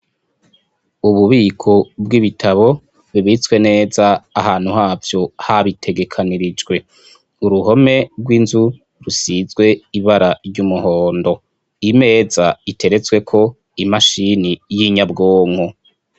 Ububiko bw’ibitabo bibitswe neza ahantu havyo habitegekanirijwe. Uruhome rw’inzu rusizwe ibara ry’umuhondo, imeza iteretsweko imashini y’inyabwonko.